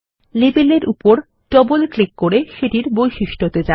লেবেলের উপর double click করে সেটির বৈশিষ্ট্য তে যান